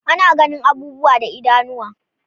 Ana ganin abubuwa da idanuwa